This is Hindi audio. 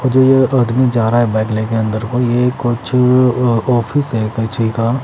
जो ये अदमी जा रहा है बैंग लेके अन्दर को ये कुछ आफिस है किसी का--